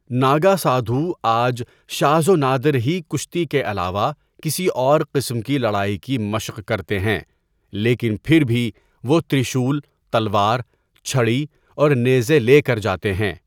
ناگا سادھو آج شاذ و نادر ہی کشتی کے علاوہ کسی اور قسم کی لڑائی کی مشق کرتے ہیں، لیکن پھر بھی وہ ترشول، تلوار، چھڑی اور نیزے لے کر جاتے ہیں۔